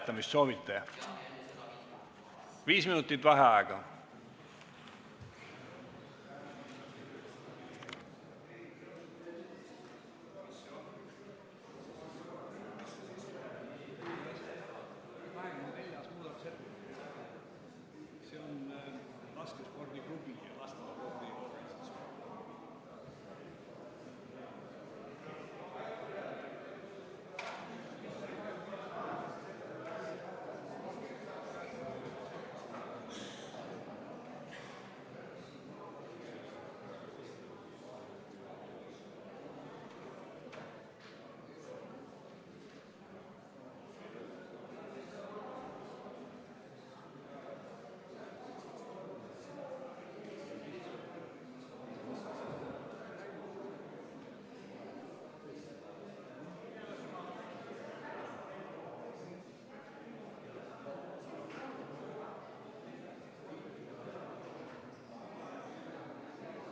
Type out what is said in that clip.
Kas soovite 24. ettepaneku hääletamist?